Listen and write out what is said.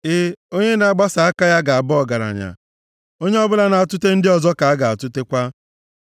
E, onye na-agbasa aka ya ga-aba ọgaranya; onye ọbụla na-atụte ndị ọzọ ka a ga-atụtekwa.